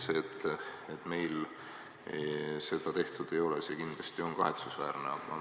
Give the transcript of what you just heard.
See, et meil seda tehtud ei ole, on kindlasti kahetsusväärne.